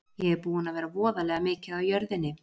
Ég er búinn að vera voðalega mikið á jörðinni.